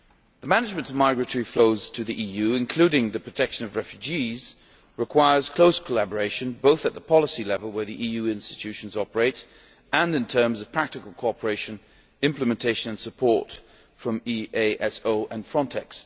The management of migratory flows to the EU, including the protection of refugees, requires close collaboration both at policy level where the EU institutions operate, and in terms of practical cooperation, implementation and support from EASO and FRONTEX.